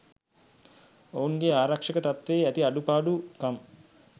ඔවුන්ගේ ආරක්ෂක තත්වයේ ඇති අඩු පාඩු කම්